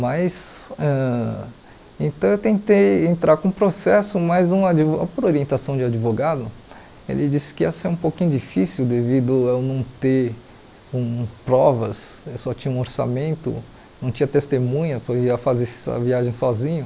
Mas, ãh então eu tentei entrar com o processo, mas um advo por orientação de advogado, ele disse que ia ser um pouquinho difícil devido a eu não ter hum provas, eu só tinha um orçamento, não tinha testemunha, porque eu ia fazer essa viagem sozinho.